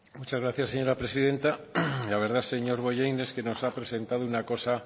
muchas gracias señora presidenta la verdad señor bollain es que nos ha presentado una cosa